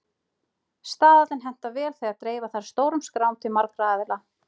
Staðallinn hentar vel þegar dreifa þarf stórum skrám til margra aðila.